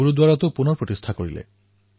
ভাৰত চৰকাৰে এক গুৰুত্বপূৰ্ণ সিদ্ধান্ত লৈছে